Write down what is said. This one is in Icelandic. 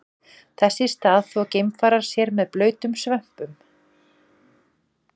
Þess í stað þvo geimfarar sér með blautum svömpum.